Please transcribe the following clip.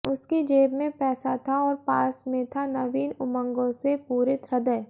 उसकी जेब में पैसा था और पास में था नवीन उमंगों से पूरित हृदय